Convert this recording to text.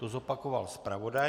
To zopakoval zpravodaj.